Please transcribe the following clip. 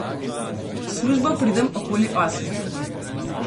V službo pridem okoli osmih.